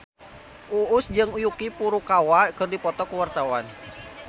Uus jeung Yuki Furukawa keur dipoto ku wartawan